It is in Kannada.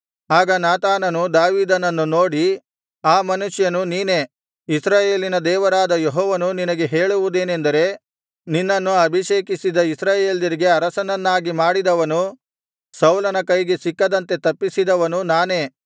ಆಗ ನಾತಾನನು ದಾವೀದನನ್ನು ನೋಡಿ ಆ ಮನುಷ್ಯನು ನೀನೇ ಇಸ್ರಾಯೇಲಿನ ದೇವರಾದ ಯೆಹೋವನು ನಿನಗೆ ಹೇಳುವುದೇನೆಂದರೆ ನಿನ್ನನ್ನು ಅಭಿಷೇಕಿಸಿ ಇಸ್ರಾಯೇಲ್ಯರಿಗೆ ಅರಸನನ್ನಾಗಿ ಮಾಡಿದವನು ಸೌಲನ ಕೈಗೆ ಸಿಕ್ಕದಂತೆ ತಪ್ಪಿಸಿದವನು ನಾನೇ